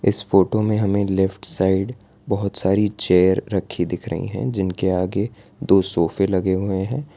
इस फोटो में हमें लेफ्ट साइड बहोत सारी चेयर रखी दिख रही हैं जिनके आगे दो सोफे लगे हुए हैं।